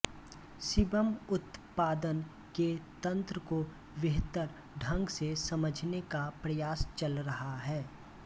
sebum उत्पादन के तंत्र को बेहतर ढंग से समझने का प्रयास चल रहा है